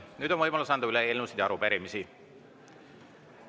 Nüüd on võimalus anda üle eelnõusid ja arupärimisi.